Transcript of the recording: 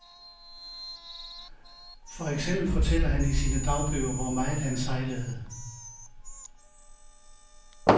For eksempel fortæller han i sine dagbøger, hvor meget han sejlede.